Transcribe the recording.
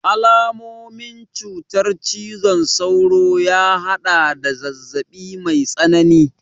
Alamomin cutar cizon sauro ya haɗada zazzaɓi mai tsanani